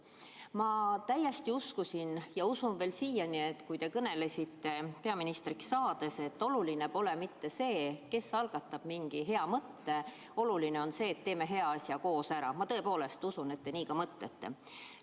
Ma täiesti uskusin varem ja usun veel siiani, et kui te kõnelesite peaministriks saades, et oluline pole mitte see, kes algatab mingi hea mõtte, vaid oluline on see, et teeme hea asja koos ära, siis te nii ka mõtlete.